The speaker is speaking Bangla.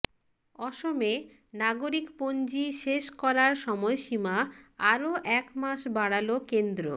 অসমে নাগরিকপঞ্জী শেষ করার সময়সীমা আরও এক মাস বাড়াল কেন্দ্র